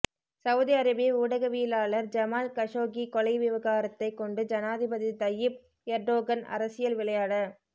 Saudi அரேபிய ஊடகவியலாளர் Jamal Khashoggi கொலை விவகாரத்தை கொண்டு ஜனாதிபதி தையீப் எர்டோகன் அரசியல் விளையாட